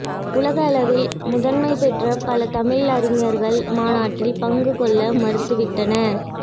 உலக அளவில் முதன்மை பெற்ற பல தமிழ் அறிஞர்கள் மாநாட்டில் பங்குகொள்ள மறுத்துவிட்டனர்